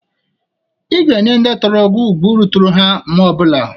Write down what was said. Ị ga-enye ndị toro gi ugwu ruturu ha mgbe ọ bụla.